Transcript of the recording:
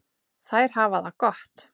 Þær hafa það gott.